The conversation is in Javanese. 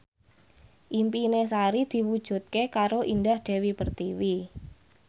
impine Sari diwujudke karo Indah Dewi Pertiwi